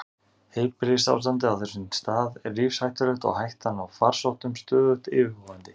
Heilbrigðisástandið á þessum stað er lífshættulegt og hættan á farsóttum stöðugt yfirvofandi.